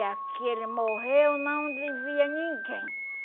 aquele morreu não devia ninguém